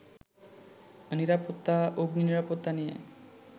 নিরাপত্তা, অগ্নিনিরাপত্তা নিয়ে